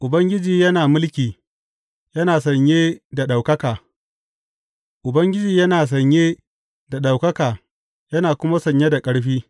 Ubangiji yana mulki, yana sanye da ɗaukaka; Ubangiji yana sanye da ɗaukaka yana kuma sanye da ƙarfi.